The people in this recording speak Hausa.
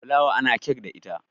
fulawa ana kek da ita